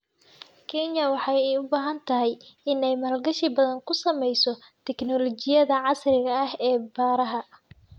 Kenya waxa ay u baahantahay in ay maalgashi badan ku samayso teknoolajiyada casriga ah ee beeraha.